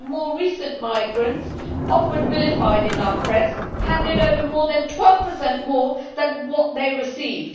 The more recent migrants often vilified in our press handed over more than 12 more than they received.